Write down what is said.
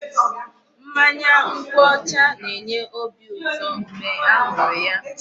Mmanya nkwụ ọcha na-enye obi ụtọ mgbe a ṅụrụ ya.